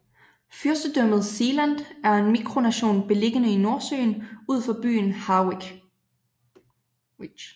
Fyrstedømmet Sealand er en mikronation beliggende i Nordsøen ud for byen Harwich